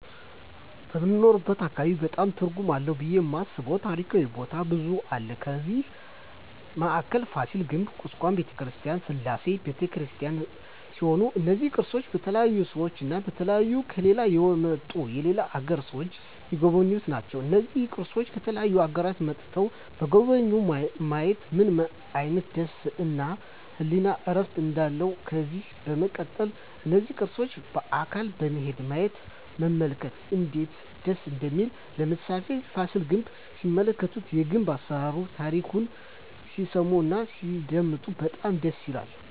በምንኖርበት አካባቢ በጣም ትርጉም አለው ብየ የማስበው ታሪካዊ ቦታ ብዙ አለ ከዛ በአካል ፋሲል ግንብ ኩስካም በተክርስቲያን ስላሴ በተክርስቲያን ሲሆኑ እነዚ ቅርሶች በተለያዩ ሰዎች እና በተለያዩ ከሌላ የመጡ የሌላ አገር ሰዎች ሚጎበኙአቸው ናቸው እና እነዚህን ቅርሶች ከተለያዩ አገሮች መጥተዉ የጎበኙ ማየት ምን አይነት ደስታ እና የህሊና እርፍ እንዳለው ከዚህ በመቀጠል እነዚህን ቅርሶች በአካል በመሄድ ማየት እና መመልከት እነዴት ደስ እንደሚል ለምሳሌ ፋሲል ግንብ ሲመለከቱ የግንብ አሰራሩን ታሪኩን ሲሰሙ እና ሲያደመጡ በጣም ደስ ይላል